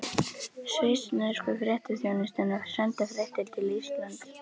Svissnesku fréttaþjónustuna, senda fréttir til Íslands.